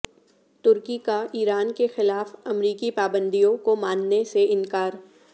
ترکی کا ایران کے خلاف امریکی پابندیوں کو ماننے سے انکار